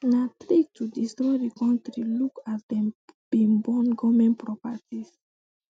na trick to destroy di kontri look as dem bin burn goment properties